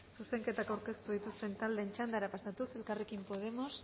zuzenketak aurkeztu dituzten taldeen txandara pasatuz elkarrekin podemos